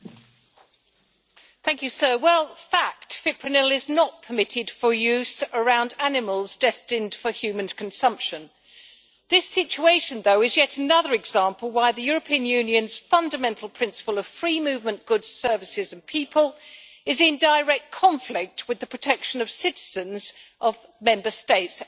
Mr President, it is a fact that fipronil is not permitted for use around animals destined for human consumption. This situation is yet though another example of why the European Union's fundamental principle of the free movement of goods, services and people is in direct conflict with the protection of citizens of Member States, in this context